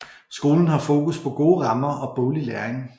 Skolen har fokus på gode rammer og boglig læring